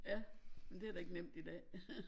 Ja men det da ikke nemt i dag